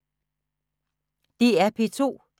DR P2